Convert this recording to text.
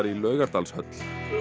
Laugardalshöll